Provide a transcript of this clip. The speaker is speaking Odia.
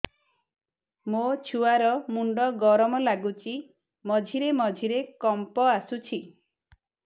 ମୋ ଛୁଆ ର ମୁଣ୍ଡ ଗରମ ଲାଗୁଚି ମଝିରେ ମଝିରେ କମ୍ପ ଆସୁଛି